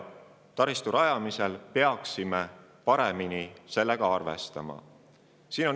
Taristu rajamisel peaksime muutuvate kliimatingimustega senisest paremini arvestama.